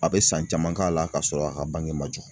A bɛ san caman k'a la ka sɔrɔ a ka bange ma jɔ